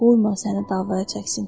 Qoyma səni davaya çəksin.